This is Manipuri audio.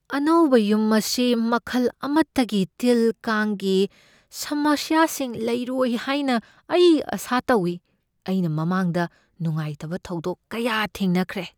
ꯑꯅꯧꯕ ꯌꯨꯝ ꯑꯁꯤ ꯃꯈꯜ ꯑꯃꯇꯒꯤ ꯇꯤꯜ ꯀꯥꯡꯒꯤ ꯁꯃꯁ꯭ꯌꯥꯁꯤꯡ ꯂꯩꯔꯣꯏ ꯍꯥꯏꯅ ꯑꯩ ꯑꯥꯁꯥ ꯇꯧꯏ, ꯑꯩꯅ ꯃꯃꯥꯡꯗ ꯅꯨꯡꯉꯥꯏꯇꯕ ꯊꯧꯗꯣꯛ ꯀꯌꯥ ꯊꯦꯡꯅꯈ꯭ꯔꯦ꯫